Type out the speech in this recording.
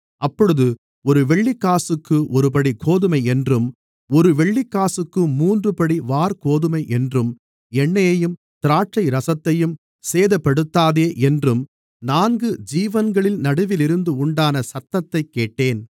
அப்பொழுது ஒரு வெள்ளிக்காசுக்கு ஒருபடி கோதுமையென்றும் ஒரு வெள்ளிக்காசுக்கு மூன்றுபடி வாற்கோதுமையென்றும் எண்ணெயையும் திராட்சைரசத்தையும் சேதப்படுத்தாதே என்றும் நான்கு ஜீவன்களின் நடுவிலிருந்து உண்டான சத்தத்தைக் கேட்டேன்